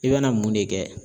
I bɛna mun de kɛ.